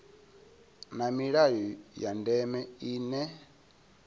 na milayo ya ndeme ine